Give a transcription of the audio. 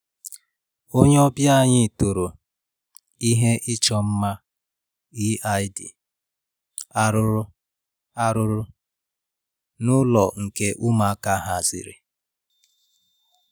Onye ọbịa anyị toro ihe ịchọ mma Eid arụrụ arụrụ n'ụlọ nke ụmụaka haziri